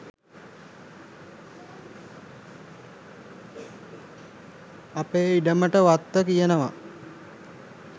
අපේ ඉඩමට වත්ත කියනවා.